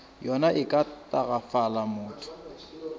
yona e ka tagafala motho